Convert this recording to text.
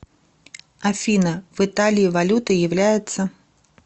афина в италии валютой является